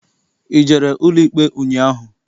I jere n'ụlọikpe ụnyaahụ?